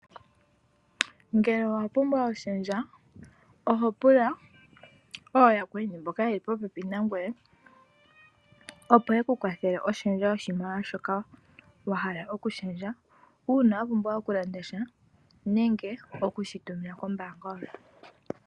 Ngele owa pumbwa oshendja, oho pula ooyakweni mboka yeli popepi nangoye, opo yeku kwathele oshendja yoshimaliwa shoka wa hala oku shendja, uuna wa pumbwa oku landa sha nenge okushi tumina kombaanga yontumba.